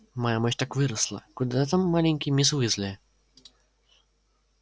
моя мощь так выросла куда там маленькой мисс уизли